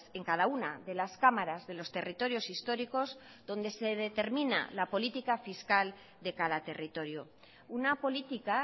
en cada una de las cámaras de los territorios históricos donde se determina la política fiscal de cada territorio una política